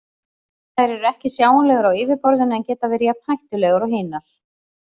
Þær eru ekki sjáanlegar á yfirborðinu en geta verið jafn hættulegar og hinar.